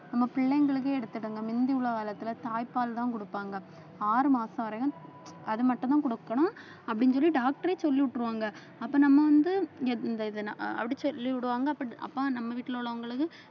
நம்ம பிள்ளைங்களுக்கு எடுத்துடுங்க முந்தி உள்ள காலத்துல தாய்ப்பால்தான் கொடுப்பாங்க ஆறு மாசம் வரையும் அது மட்டும்தான் கொடுக்கணும் அப்படின்னு சொல்லி doctor ஏ சொல்லி விட்டுருவாங்க அப்ப நம்ம வந்து இந்த இதை அப்படி சொல்லி விடுவாங்க அப்ப நம்ம வீட்டுல உள்ளவங்களுக்கு